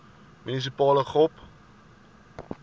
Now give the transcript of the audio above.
munisipale gop